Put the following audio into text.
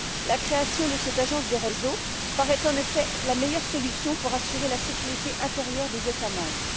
La création de cette agence des réseaux paraît, en effet, la meilleure solution pour assurer la sécurité intérieure des États membres.